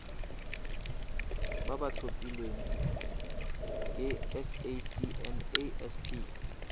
ba ba tlhophilweng ke sacnasp